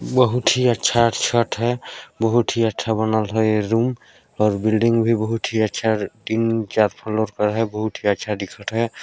बहुत ही अच्छा छत है बहुत ही अच्छा बनल है ये रूम और बिल्डिंग भी बहुत ही अच्छा तीन चार फ्लोर का है बहुत ही अच्छा दिखत हैं।